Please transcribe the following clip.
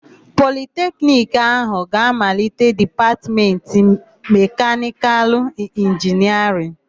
Politekiniki áhụ̀ ga-amalite Dipatmentị Mekanịkalụ Inginịarịn.